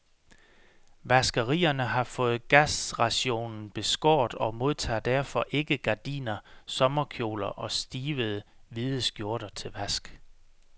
Vaskerierne har fået gasrationen beskåret og modtager derfor ikke gardiner, sommerkjoler og stivede, hvide skjorter til vask.